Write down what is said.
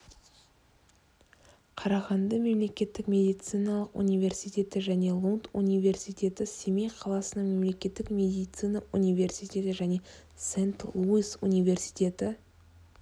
қарағанды мемлекеттік медициналық университеті және лунд университеті семей қаласының мемлекеттік медицина университеті және сент-луис университеті